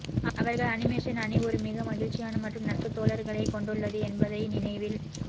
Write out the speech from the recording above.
அவர்கள் அனிமேஷன் அணி ஒரு மிக மகிழ்ச்சியான மற்றும் நட்பு தோழர்களே கொண்டுள்ளது என்பதை நினைவில்